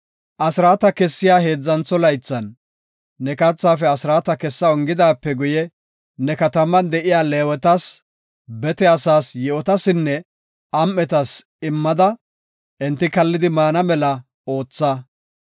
Asraata kessiya heedzantho laythan, ne kathaafe asraata kessa ongidaape guye ne kataman de7iya Leewetas, bete asaas, yi7otasinne am7etas immada enti kallidi maana mela ootha.